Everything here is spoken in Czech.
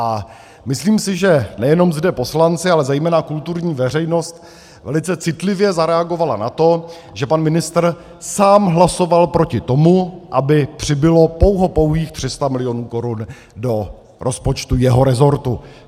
A myslím si, že nejenom zde poslanci, ale zejména kulturní veřejnost velice citlivě zareagovala na to, že pan ministr sám hlasoval proti tomu, aby přibylo pouhopouhých 300 milionů korun do rozpočtu jeho rezortu.